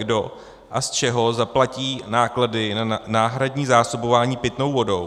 Kdo a z čeho zaplatí náklady na náhradní zásobování pitnou vodou?